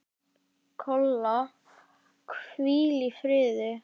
Kolla, hvíl í friði.